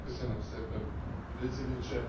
Gospodine predsjedniče,